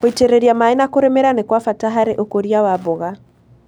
Gũitĩrĩria maĩ na kũrĩmĩra nĩ kwa bata harĩ ũkũria wa mboga.